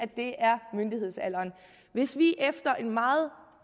er myndighedsalderen hvis vi efter en meget